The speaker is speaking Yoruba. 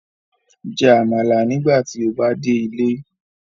Jẹ amala nigbati o ba de ile